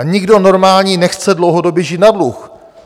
A nikdo normální nechce dlouhodobě žít na dluh.